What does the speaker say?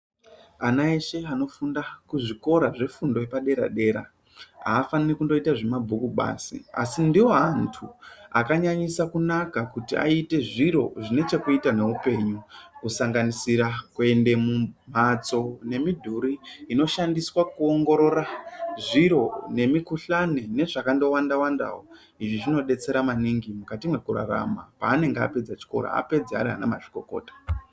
Ana eshe anofunda kuzvikora zvefundo yepadera-dera afaniri kundoita zvemabhuku basi asi ndiwo antu akanyanyisa Kuna kuti aite zviro zvine chekuita neupenyu kusanganisira kuende mumhatso nemidhuri inoshandiswa kuongorora zviro nemikhuhlani nezvakandowanda wandawo. Izvi zvinodetsera maningi mukati mwekurarama panenge apedza chikora apedza ari ana mazvikokota.